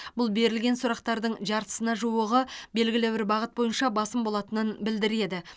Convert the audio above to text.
бұл берілген сұрақтардың жартысына жуығы белгілі бір бағыт бойынша басым болатынын білдіреді